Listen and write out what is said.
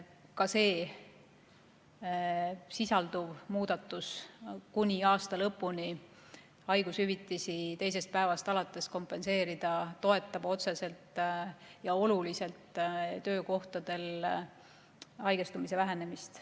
Ka selles sisalduv muudatus – kuni aasta lõpuni maksta haigushüvitist teisest päevast alates – toetab otseselt ja oluliselt töökohtadel haigestumise vähenemist.